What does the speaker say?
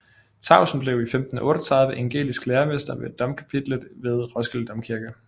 Tausen blev i 1538 evangelisk læsemester ved domkapitlet ved Roskilde Domkirke